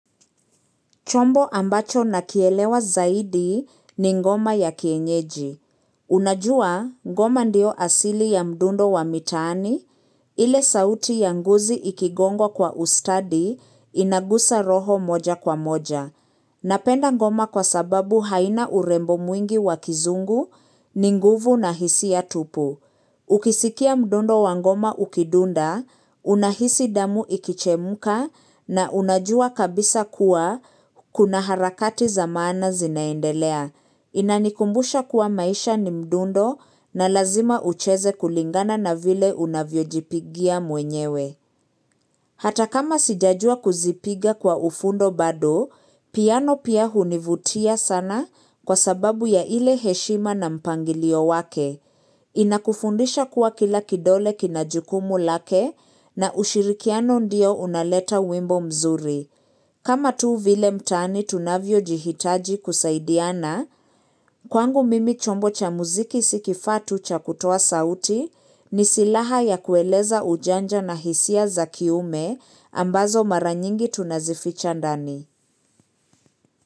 Chombo ambacho nakielewa zaidi ni ngoma ya kienyeji. Unajua, ngoma ndio asili ya mdundo wa mitaani ile sauti ya ngozi ikigongwa kwa ustadi inagusa roho moja kwa moja. Napenda ngoma kwa sababu haina urembo mwingi wa kizungu ni nguvu na hisia tupu. Ukisikia mdundo wa ngoma ukidunda, unahisi damu ikichemka na unajua kabisa kuwa kuna harakati za maana zinaendelea. Inanikumbusha kuwa maisha ni mdundo na lazima ucheze kulingana na vile unavyojipigia mwenyewe. Hata kama sijajua kuzipiga kwa ufundo bado, piano pia hunivutia sana kwa sababu ya ile heshima na mpangilio wake. Inakufundisha kuwa kila kidole kina jukumu lake na ushirikiano ndio unaleta wimbo mzuri. Kama tu vile mtaani tunavyo jihitaji kusaidiana, kwangu mimi chombo cha muziki si kifaa tu cha kutoa sauti ni silaha ya kueleza ujanja na hisia za kiume ambazo maranyingi tunazificha ndani.